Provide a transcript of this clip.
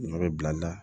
Ɲɔ bɛ bila